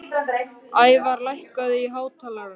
Ævarr, lækkaðu í hátalaranum.